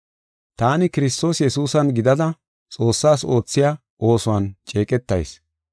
Taani Kiristoos Yesuusan gidada Xoossaas oothiya oosuwan ceeqetayis.